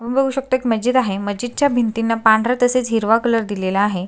तुम्ही बघू शकता एक मस्जिद आहे मस्जिद च्या भिंतीना पांढरा तसेच हिरवा कलर दिलेला आहे.